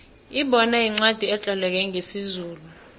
ibona yincwacli etloleke ngesizulu